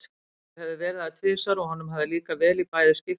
Þau höfðu verið þar tvisvar og honum hafði líkað vel í bæði skiptin.